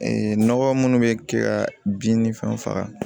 nɔgɔ munnu bɛ kɛ ka bin ni fɛnw faga